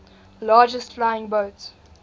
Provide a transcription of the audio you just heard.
largest flying boat